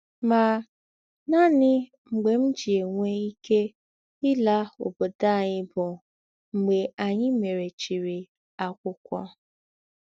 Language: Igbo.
Mà, nánị mḡbè m jì̄ ènwé íké ìlà ǒbòdò ányị bụ̀ mḡbè ányị mèrèchìrì àkwụ́kwọ́.